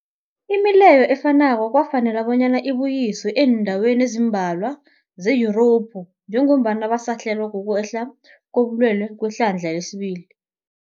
Imileyo efanako kwafanela bonyana ibuyiswe eendaweni ezimbalwa ze-Yurophu njengombana basahlelwa, kukwehla kobulwele kwehlandla lesibili.